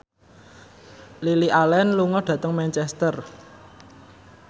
Lily Allen lunga dhateng Manchester